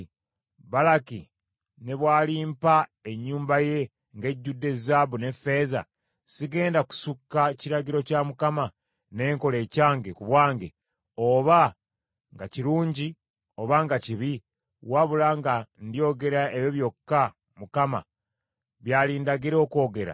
‘Balaki ne bw’alimpa ennyumba ye ng’ejjudde zaabu ne ffeeza, sigenda kusukka kiragiro kya Mukama ne nkola ekyange ku bwange oba nga kirungi oba nga kibi, wabula nga ndyogera ebyo byokka Mukama by’alindagira okwogera?’